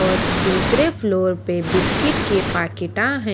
और दूसरे फ्लोर पे बिस्किट के पाकिटा हैं।